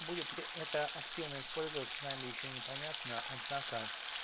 будет ли это активно использоваться нами ещё непонятно однако